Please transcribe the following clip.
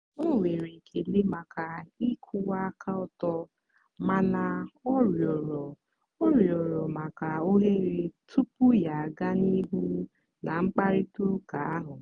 o nwere ekele maka ịkwụwa aka ọtọ mana ọ rịọrọ ọ rịọrọ maka ohere tupu ya aga n'ihu na mkparịta ụka ahụ.